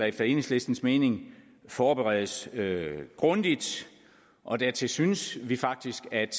efter enhedslistens mening forberedes grundigt og dertil synes vi faktisk at